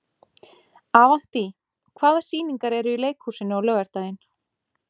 Avantí, hvaða sýningar eru í leikhúsinu á laugardaginn?